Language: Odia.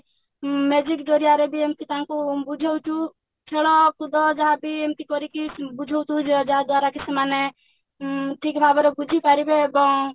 ଉଁ ଜରିଆରେ ବି ଏମତି ତାଙ୍କୁ ବୁଝଉଛୁ ଖେଳ କୁଦ ଯାହାବି ଏମିତି କରିକି ବୁଝଉଛୁ ଯାହା ଯାହାଦ୍ୱାରାକି ସେମାନେ ଉଁ ଠିକ ଭାବରେ ବୁଝିପାରିବେ ଏବଂ